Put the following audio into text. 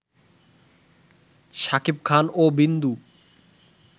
শাকিব খান ও বিন্দু